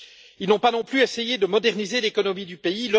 Ils n'ont pas non plus essayé de moderniser l'économie du pays.